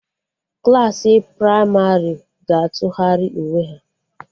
Klassị pramarị ga-atụgharị uwe ha